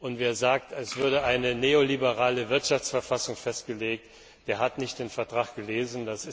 Und wer sagt, es würde eine neoliberale Wirtschaftsverfassung festgelegt, der hat den Vertrag nicht gelesen.